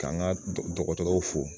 K'an ka dɔgɔtɔrɔw fo